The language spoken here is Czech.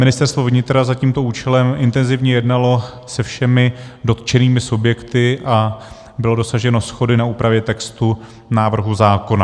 Ministerstvo vnitra za tímto účelem intenzivně jednalo se všemi dotčenými subjekty a bylo dosaženo shody na úpravě textu návrhu zákona.